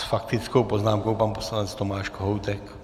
S faktickou poznámkou pan poslanec Tomáš Kohoutek.